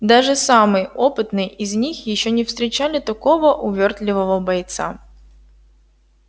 даже самые опытные из них ещё не встречали такого увёртливого бойца